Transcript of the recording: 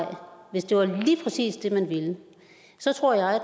hvis det var lige præcis det man ville så tror jeg at